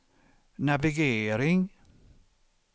navigering